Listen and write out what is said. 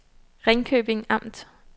Ringkøbing Amt